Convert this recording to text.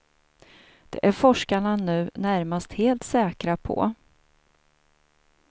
Det är forskarna nu närmast helt säkra på.